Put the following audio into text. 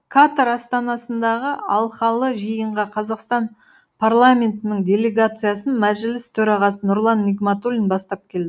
катар астанасындағы алқалы жиынға қазақстан парламентінің делегациясын мәжіліс төрағасы нұрлан ныгматулин бастап келді